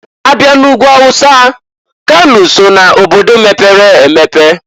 Abịa n'Ugwu Hausa, kano so na obodo mepere emepe.